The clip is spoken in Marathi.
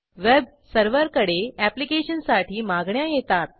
वेब सर्व्हरकडे ऍप्लिकेशनसाठी मागण्या येतात